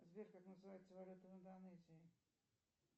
сбер как называется валюта в индонезии